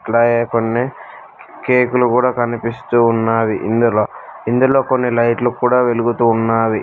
ఇక్కడయే కొన్ని కేకులు కూడా కనిపిస్తూ ఉన్నవి ఇందులో ఇందులో కొన్ని లైట్లు కూడా వెలుగుతూ ఉన్నవి.